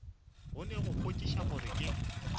kgone go kwešiša gore ke